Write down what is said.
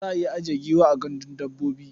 Za a iya ajiye giwa a gandun dabbobi.